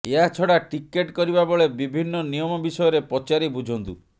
ଏହାଛଡ଼ା ଟିକେଟ କରିବା ବେଳେ ବିଭିନ୍ନ ନିୟମ ବିଷୟରେ ପଚାରି ବୁଝନ୍ତୁ